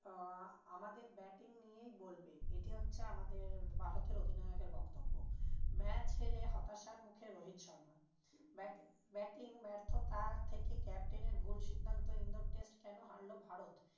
আহ আমাদের batting নিয়েই বলবে এটি হচ্ছে আমাদের ভারতের অধিনায়কের বক্তব্য। match হেরে হতাশার মুখে রোহিত শর্মা। batbatting ব্যার্থতা থেকে captain এর বহু সিদ্ধান্ত ইন্দোর test কেন হারলো ভারত?